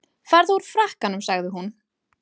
Farðu úr frakkanum sagði hún.